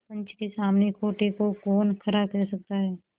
पंच के सामने खोटे को कौन खरा कह सकता है